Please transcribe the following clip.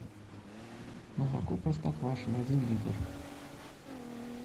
молоко простоквашино один литр